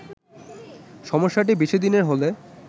সমস্যাটি বেশি দিনের হলে